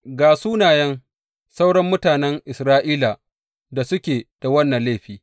Ga sunayen sauran mutanen Isra’ilan da suke da wannan laifi.